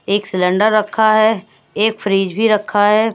एक सिलेंडर रखा है एक फ्रिज भी रखा है।